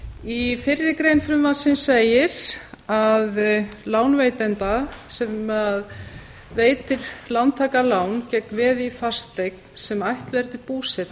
í fyrri grein frumvarpsins segir að lánveitanda sem veitir lántaka lán gegn veði í fasteign sem ætluð er til búsetu